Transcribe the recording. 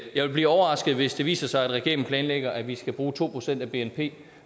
jeg vil blive overrasket hvis det viser sig at regeringen planlægger at vi skal bruge to procent af bnp